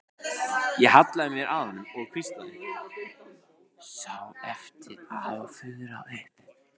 Ég hallaði mér að honum og hvíslaði, sá eftir að hafa fuðrað upp.